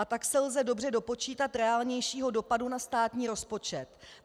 A tak se lze dobře dopočítat reálnějšího dopadu na státní rozpočet.